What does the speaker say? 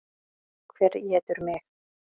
Hver étur mig?